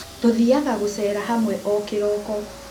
Tũthiaga gũcera hamwe o kĩroko